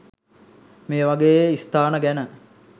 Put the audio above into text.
මේවගේ ස්ථාන ගැන